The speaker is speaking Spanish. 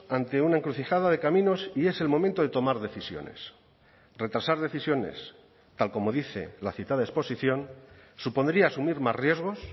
ante una encrucijada de caminos y es el momento de tomar decisiones retrasar decisiones tal como dice la citada exposición supondría asumir más riesgos